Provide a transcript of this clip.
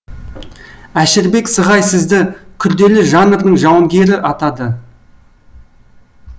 әшірбек сығай сізді күрделі жанрдың жауынгері атады